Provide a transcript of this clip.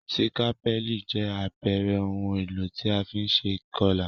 Sikapẹli jẹ àpere oun èlò ti a fi n se ìkolà